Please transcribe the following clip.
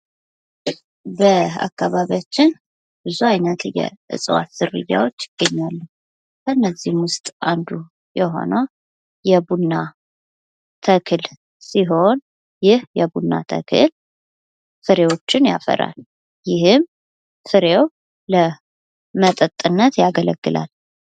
በአካባቢያችን ብዙ አይነት የእጽዋት ዝርያዎች አሉ ከነዚህም ውስጥ የሆነው የቡና ተክል ሲሆን ፤ ይህ የቡና ተክል ፍሬዎችን ያፈራል። ይህም ፍሬው ለመጠጥነት ያገለግላል።